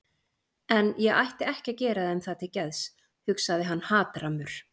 En ég ætti ekki að gera þeim það til geðs, hugsaði hann hatrammur.